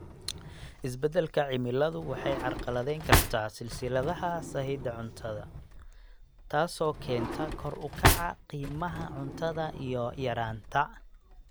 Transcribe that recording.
Isbeddelka cimiladu waxay carqaladayn kartaa silsiladaha sahayda cuntada, taasoo keenta kor u kaca qiimaha cuntada iyo yaraanta.